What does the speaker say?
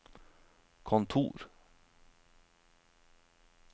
kontor